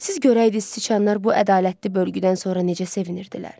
Siz görəydiniz siçanlar bu ədalətli bölgüdən sonra necə sevinirdilər.